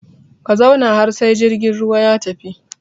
Ka zauna har sai jirgin ruwa ya tafi!